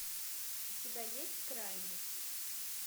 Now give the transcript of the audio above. у тебя есть крайность